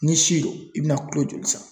N'i si don, i bɛna kulo joli san?